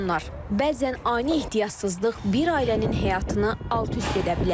Bəzən ani ehtiyatsızlıq bir ailənin həyatını alt-üst edə bilər.